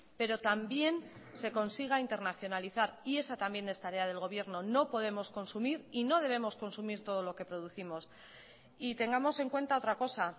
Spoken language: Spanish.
pero también se consiga internacionalizar y esa también es tarea del gobierno no podemos consumir y no debemos consumir todo lo que producimos y tengamos en cuenta otra cosa